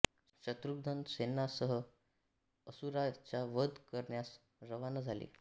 शत्रुघ्न सैन्यासह त्या असुरा चा वध करण्यास रवाना झाले